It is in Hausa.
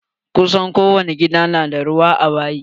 Kusan ko wani gida na da ruwa a bayi.